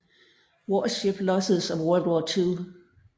Warship Losses of World War Two